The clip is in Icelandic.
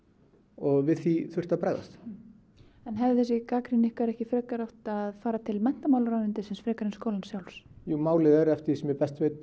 og við því þurfti að bregðast en hefði þessi gagnrýni ykkar ekki frekar átt að fara til menntamálaráðuneytisins frekar en skólans sjálfs jú málið er eftir því sem ég best veit